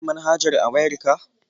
Ka sauke manhajar a wayar ka.